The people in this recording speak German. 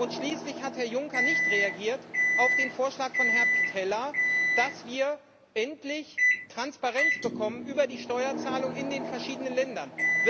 Und schließlich hat Herr Juncker nicht auf den Vorschlag von Herrn Pittella reagiert, dass wir endlich Transparenz bekommen über die Steuerzahlung in den verschiedenen Ländern.